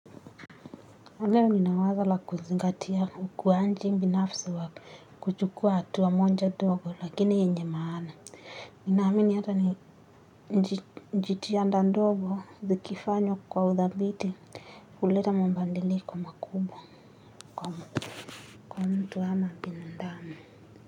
Leo nina wazo la kuzingatia ukuaji binafsi wa kuchukua hatua moja dogo lakini yenye maana. Ninaamini hata ni jitihada ndogo zikifanywa kwa udhabiti huleta mabadiliko makubwa kwa mtu ama bindamu.